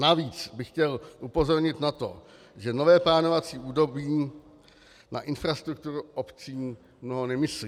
Navíc bych chtěl upozornit na to, že nové plánovací období na infrastrukturu obcí mnoho nemyslí.